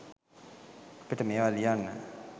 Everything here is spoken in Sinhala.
අපිට මේවා ලියන්න